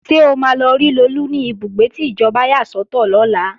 Ṣé o máa lọ rí Lolú ní ibùgbé tí ìjọba yà sọ́tọ̀ lọ́la?